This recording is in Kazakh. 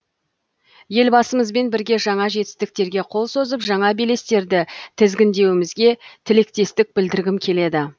елбасымызбен бірге жаңа жетістіктерге қол созып жаңа белестерді тізгіндеуімізге тілектестік білдіргім келеді